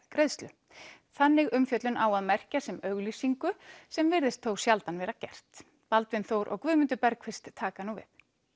greiðslu þannig umfjöllun á að merkja sem auglýsingu sem virðist þó sjaldan vera gert Baldvin Þór og Guðmundur taka nú við